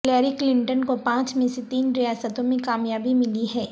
Hillary Clinton کو پانچ میں سے تین ریاستوں میں کامیابی ملی ہے